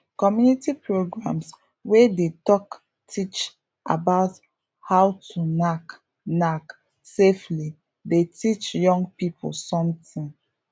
community programs wey dey talk teach about how to knack knack safely dey teach young people something